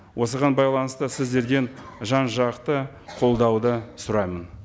осыған байланысты сіздерден жан жақты қолдауды сұраймын